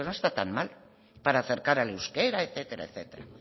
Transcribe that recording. está tan mal para acercar al euskera etcétera etcétera